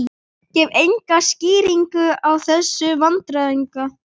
Gaf enga skýringu á þessum vandræðagangi.